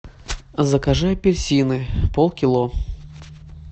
закажи апельсины полкило